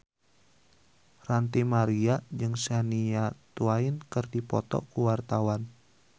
Ranty Maria jeung Shania Twain keur dipoto ku wartawan